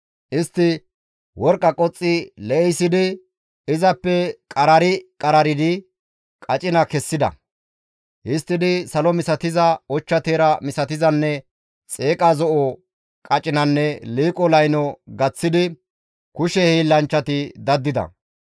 Istti worqqa qoxxi lee7isidi, izappe qarari qararidi qacina kessida. Histtidi salo misatiza, ochcha teera misatizanne xeeqa zo7o qacinanne liiqo layno gaththidi kushe hiillanchchati daddida.